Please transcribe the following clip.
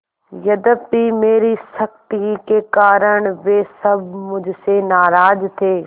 यद्यपि मेरी सख्ती के कारण वे सब मुझसे नाराज थे